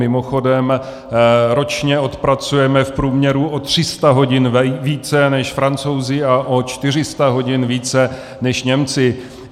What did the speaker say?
Mimochodem, ročně odpracujeme v průměru o 300 hodin více než Francouzi a o 400 hodin více než Němci.